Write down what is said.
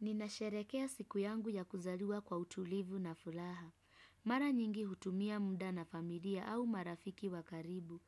Ninasherehekea siku yangu ya kuzaliwa kwa utulivu na furaha. Mara nyingi hutumia muda na familia au marafiki wa karibu,